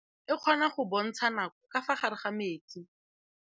Toga-maanô e, e kgona go bontsha nakô ka fa gare ga metsi.